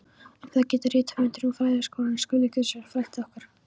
Um það getur rithöfundurinn og fræðagrúskarinn Skúli Guðjónsson frætt okkur.